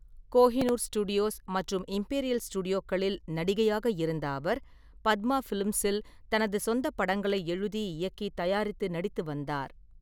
Kohinoor studios மற்றும் Imperial ஸ்டுடியோக்களில் நடிகையாக இருந்த அவர், ஃபத்மா பிலிம்ஸில் தனது சொந்த படங்களை எழுதி, இயக்கி, தயாரித்து, நடித்து வந்தார்.